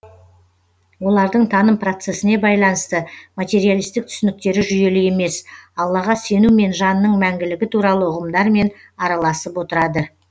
олардың таным процесіне байланысты материалистік түсініктері жүйелі емес аллаға сену мен жанның мәңгілігі туралы ұғымдармен араласып отырады